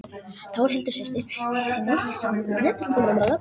Þórhildi systur sinni samúð þegar pabbi dó.